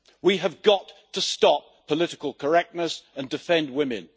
We have got to stop political correctness and defend women.